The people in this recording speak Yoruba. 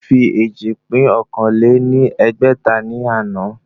Ó fi éjì pín okòó lé ní ẹgbẹ́ta ní àná